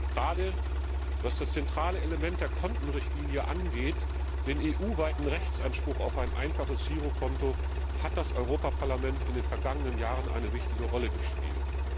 Gerade was das zentrale Element der Kontenrichtlinie angeht, den EU weiten Rechtsanspruch auf ein einfaches Girokonto, hat das Europaparlament in den vergangenen Jahren eine wichtige Rolle gespielt.